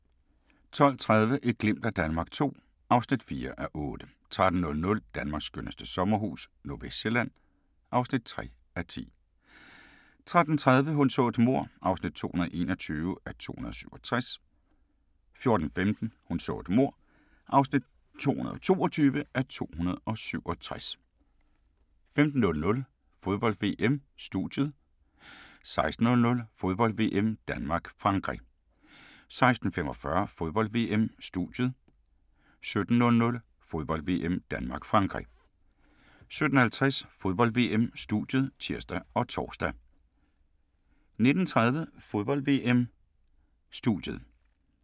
12:30: Et glimt af Danmark II (4:8) 13:00: Danmarks skønneste sommerhus - Nordvestsjælland (3:10) 13:30: Hun så et mord (221:267) 14:15: Hun så et mord (222:267) 15:00: Fodbold: VM - Studiet 16:00: Fodbold: VM - Danmark-Frankrig 16:45: Fodbold: VM - Studiet 17:00: Fodbold: VM - Danmark-Frankrig 17:50: Fodbold: VM - Studiet (tir og tor) 19:30: Fodbold: VM - Studiet